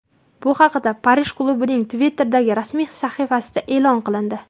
Bu haqda Parij klubining Twitter’dagi rasmiy sahifasida e’lon qilindi .